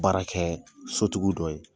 Baara kɛ sotigiw dɔ ye.